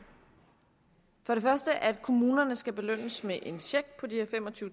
for det første at kommunerne skal belønnes med en check på de her